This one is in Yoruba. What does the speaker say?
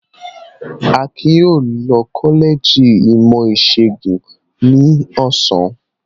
Akin yóò lọ kọ́lẹ́jì ìmọ̀-ìṣègùn ní ọ̀sán.